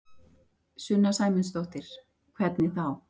Sunna Sæmundsdóttir: Hvernig þá?